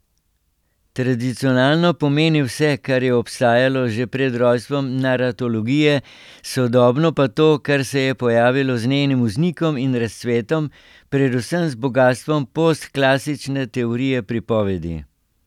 Tradicionalno pomeni vse, kar je obstajalo že pred rojstvom naratologije, sodobno pa to, kar se je pojavilo z njenim vznikom in razcvetom, predvsem z bogastvom postklasične teorije pripovedi.